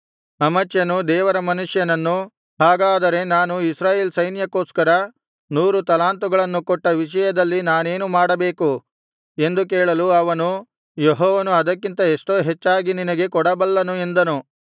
ಅಮಚ್ಯನು ದೇವರ ಮನುಷ್ಯನನ್ನು ಹಾಗಾದರೆ ನಾನು ಇಸ್ರಾಯೇಲ್ ಸೈನ್ಯಕ್ಕೋಸ್ಕರ ನೂರು ತಲಾಂತುಗಳನ್ನು ಕೊಟ್ಟ ವಿಷಯದಲ್ಲಿ ನಾನೇನು ಮಾಡಬೇಕು ಎಂದು ಕೇಳಲು ಅವನು ಯೆಹೋವನು ಅದಕ್ಕಿಂತ ಎಷ್ಟೋ ಹೆಚ್ಚಾಗಿ ನಿನಗೆ ಕೊಡಬಲ್ಲನು ಎಂದನು